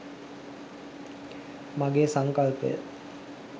මගේ සංකල්පය